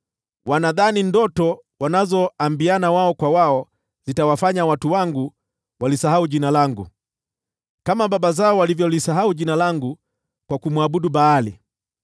Wanadhani ndoto wanazoambiana wao kwa wao zitawafanya watu wangu walisahau jina langu, kama baba zao walivyolisahau jina langu kwa kumwabudu Baali.